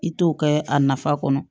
I t'o kɛ a nafa kɔnɔ